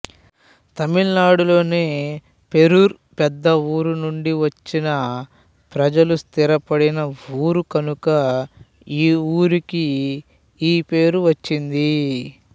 తమిళనాడులోని పేరూరు పెద్ద ఊరు నుండి వచ్చిన ప్రజలు స్థిరపడిన ఊరు కనుక ఈ ఊరికి ఈపేరు వచ్చింది